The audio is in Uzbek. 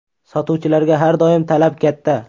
Sotuvchilarga har doim talab katta.